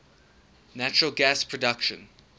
natural gas production